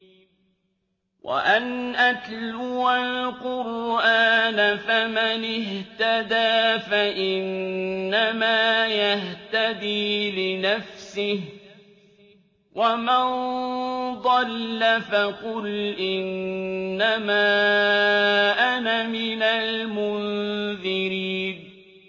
وَأَنْ أَتْلُوَ الْقُرْآنَ ۖ فَمَنِ اهْتَدَىٰ فَإِنَّمَا يَهْتَدِي لِنَفْسِهِ ۖ وَمَن ضَلَّ فَقُلْ إِنَّمَا أَنَا مِنَ الْمُنذِرِينَ